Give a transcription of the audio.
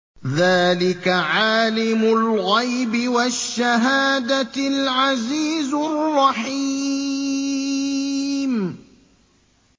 ذَٰلِكَ عَالِمُ الْغَيْبِ وَالشَّهَادَةِ الْعَزِيزُ الرَّحِيمُ